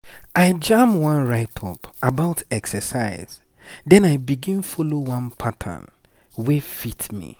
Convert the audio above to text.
i jam one write-up about exercise then i begin follow one pattern wey fit me.